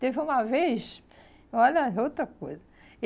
Teve uma vez... Olha, outra coisa.